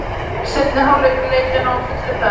Seinni hálfleikur leikjanna á fullri ferð.